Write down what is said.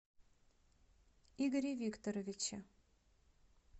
игоре викторовиче